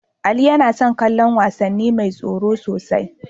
Ali yana son kallon wasanni mai tsoro sosai.